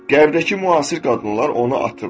Qərbdəki müasir qadınlar onu atıb.